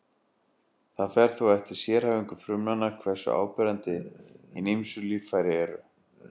Það fer þó eftir sérhæfingu frumnanna hversu áberandi hin ýmsu líffæri eru.